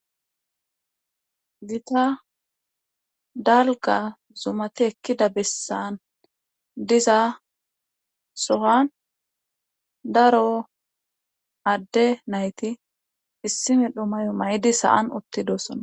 gita dalga zumati ekkida bessan diza sohan daro adde nayti issi medho mayo maydi saan utti dossonna